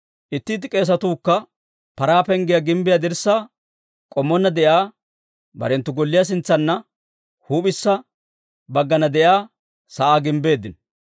Itti itti k'eesatuu kka Paraa Penggiyaa gimbbiyaa dirssaappe k'ommonna de'iyaa barenttu golliyaa sintsanna, huup'issa baggana de'iyaa sa'aa gimbbeeddino.